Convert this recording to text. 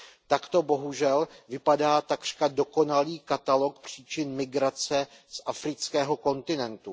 Takto bohužel vypadá takřka dokonalý katalog příčin migrace z afrického kontinentu.